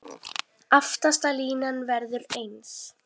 Aftasta línan verður eins.